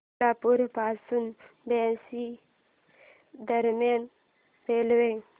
सोलापूर पासून बार्शी दरम्यान रेल्वे